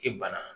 E bana